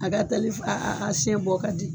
A ka teli a siɲɛ bɔ ka di